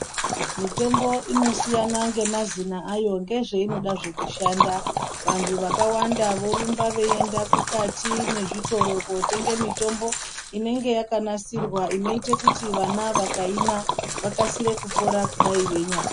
Mitombo inosiyana ngemazina ayo ngezveinoda zve kushanda vantu vakawanda vorumba veienda mukati mwezvitoro kotenge mitombo inenge yakanasirwa inoite kuti vana vakaimwa vakasire kupora kudai veinyarwara